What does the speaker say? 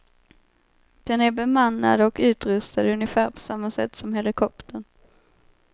Den är bemannad och utrustad ungefär på samma sätt som helikoptern.